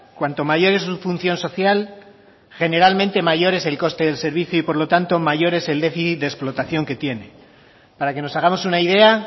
cuanto mayor es su función social generalmente mayor es el coste del servicio y por lo tanto mayor es el déficit de explotación que tiene para que nos hagamos una idea